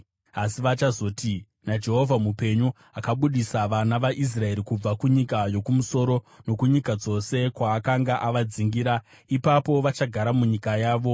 asi vachazoti, ‘NaJehovha mupenyu, akabudisa vana vaIsraeri kubva kunyika yokumusoro nokunyika dzose kwaakanga avadzingira.’ Ipapo vachagara munyika yavo.”